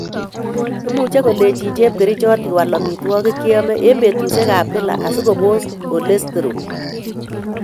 Imuche kolenjin chepkerichot iwal amitwokik cheyome en betusiek ab kila asikobos chjolesterol